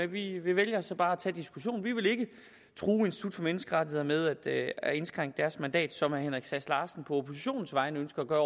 vi vælger så bare at tage diskussionen vi vil ikke true institut for menneskerettigheder med at at indskrænke deres mandat sådan som herre henrik sass larsen på oppositionens vegne ønsker at gøre